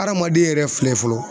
Hadamaden yɛrɛ filɛ fɔlɔ